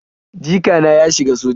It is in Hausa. Jikana ya shiga soja